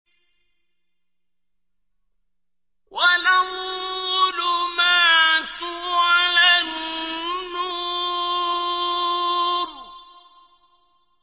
وَلَا الظُّلُمَاتُ وَلَا النُّورُ